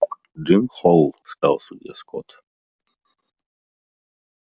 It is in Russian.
джим холл сказал судья скотт